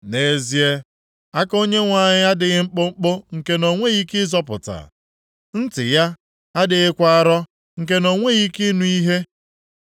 Nʼezie, aka Onyenwe anyị adịghị mkpụmkpụ nke na o nweghị ike ịzọpụta, ntị ya adịghịkwa arọ nke na o nweghị ike ịnụ ihe.